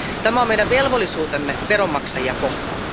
Tämä on meidän velvollisuutemme veronmaksajia kohtaan.